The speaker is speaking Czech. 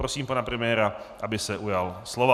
Prosím pana premiéra, aby se ujal slova.